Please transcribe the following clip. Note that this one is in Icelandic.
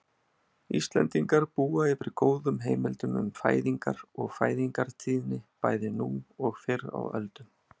Íslendingar búa yfir góðum heimildum um fæðingar og fæðingartíðni bæði nú og fyrr á öldum.